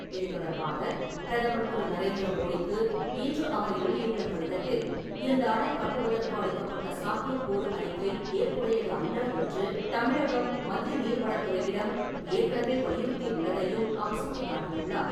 இதுதொடர்பாக, பிரதமர் திரு. நரேந்திர மோடிக்கு இன்று அவர் எழுதியுள்ள கடிதத்தில், இந்த அணை கட்டுவதற்கு அளிக்கப்பட்ட சாத்தியக்கூறு அறிக்கை ஏற்புடையது அல்ல என்று தமிழக மத்திய நீர்வளத் துறையிடம் ஏற்கனவே வலியுறுத்தியுள்ளதையும் அவர் சுட்டிக்காட்டியுள்ளார்.